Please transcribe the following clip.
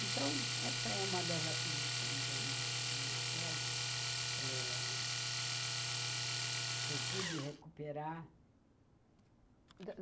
Então, essa é uma das aquisições aí dessa minha tese eh, que eu pude recuperar.